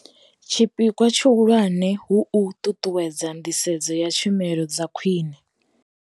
Tshipikwa tshihulwane hu u ṱuṱuwedza nḓisedzo ya tshumelo dzakhwine.